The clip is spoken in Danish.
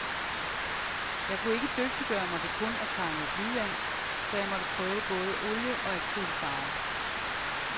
Jeg kunne ikke dygtiggøre mig ved kun at tegne med blyant, så jeg måtte prøve både olie og acrylfarver.